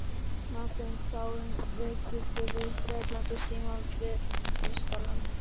Marteinn sá um viðskipti við Bretland og Símon við Þýskaland.